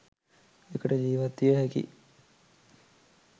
එකට ජීවත් විය හැකි